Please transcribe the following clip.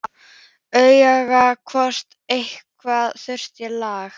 Athugar hvort eitthvað þurfi að laga.